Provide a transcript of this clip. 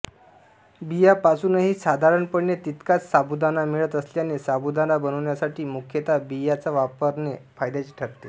बियांपासूनही साधारणपणे तितकाच साबुदाणा मिळत असल्याने साबुदाणा बनविण्यासाठी मुख्यतः बियाच वापरणे फायद्याचे ठरते